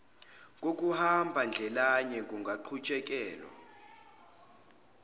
kokuhamba ndlelanye kungaqhutshekelwa